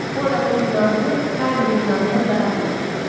Bu adamın günahı Harrinin günahından daha böyükdür.